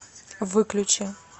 выключи